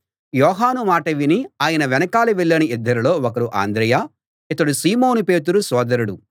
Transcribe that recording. యోహాను మాట విని ఆయన వెనకాల వెళ్ళిన ఇద్దరిలో ఒకరు అంద్రెయ ఇతడు సీమోను పేతురు సోదరుడు